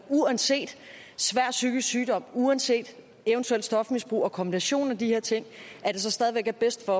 uanset svær psykisk sygdom uanset eventuelt stofmisbrug og kombinationen af de her ting stadig væk er bedst for